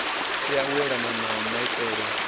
tea u elana na maitele